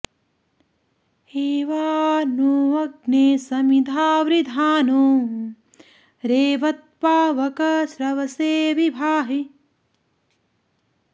एवा नो अग्ने समिधा वृधानो रेवत्पावक श्रवसे वि भाहि